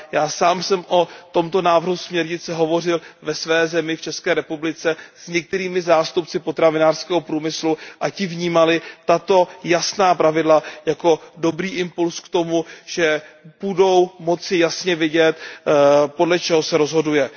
Já sám jsem o tomto návrhu směrnice hovořil ve své zemi, v České republice, s některými zástupci potravinářského průmyslu a ti vnímali tato jasná pravidla jako dobrý impuls k tomu, že budou moci jasně vidět, podle čeho se rozhoduje.